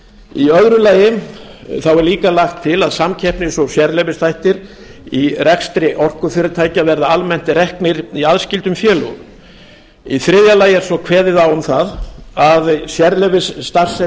í öðru lagi er líka lagt til að samkeppnis og sérleyfisþættir í rekstri orkufyrirtækja verði almennt reknir í aðskildum félögum í þriðja lagi er svo kveðið á um það að sérleyfisstarfsemi